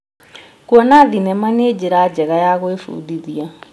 Kuona thenema nĩ njĩra njega ya gwĩbundithia.